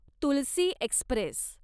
Tulsi Express